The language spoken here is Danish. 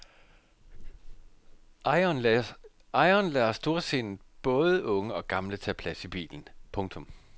Ejeren lader storsindet både unge og gamle tage plads i bilen. punktum